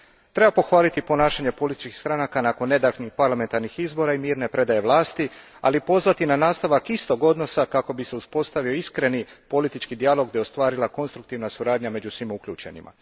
Treba pohvaliti ponašanje političkih stranaka nakon nedavnih parlamentarnih izbora i mirne predaje vlasti, ali i pozvati na nastavak istog odnosa kako bi se uspostavio iskreni politički dijalog, te ostvarila konstruktivna suradnja među svim uključenima.